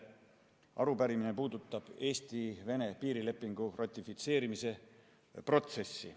Arupärimine puudutab Eesti-Vene piirilepingu ratifitseerimise protsessi.